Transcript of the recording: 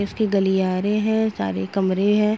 इसके गलियारे हैं सारे कमरे हैं।